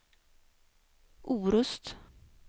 Orust